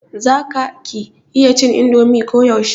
za ka /ki iya cin indomi ko yaushe?